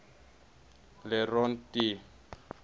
le rond d